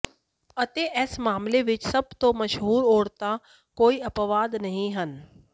ਅਤੇ ਇਸ ਮਾਮਲੇ ਵਿਚ ਸਭ ਤੋਂ ਮਸ਼ਹੂਰ ਔਰਤਾਂ ਕੋਈ ਅਪਵਾਦ ਨਹੀਂ ਹਨ